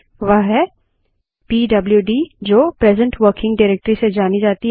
वह है पीडबल्यूडी जो प्रेसेंट वर्किंग डाइरेक्टरी से जानी जाती है